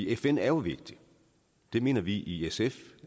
fn er vigtig det mener vi i sf